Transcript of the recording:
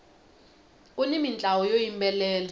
kuni mintlawa yo yimbelela